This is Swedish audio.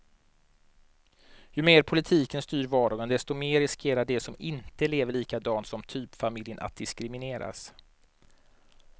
Ju mer politiken styr vardagen, desto mer riskerar de som inte lever likadant som typfamiljen att diskrimineras.